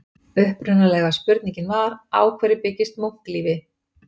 Upprunalega spurningin var: Á hverju byggist munklífi?